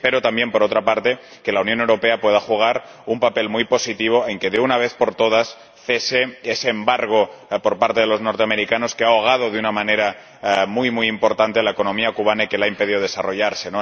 Y espero también, por otra parte, que la Unión Europea pueda jugar un papel muy positivo para que, de una vez por todas, cese ese embargo por parte de los estadounidenses, que ha ahogado de una manera muy, muy importante a la economía cubana y que le ha impedido desarrollarse.